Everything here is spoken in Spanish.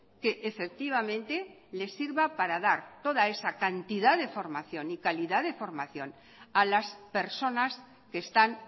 que efectivamente le sirva para dar toda esa cantidad de formación y calidad de formación a las personas que están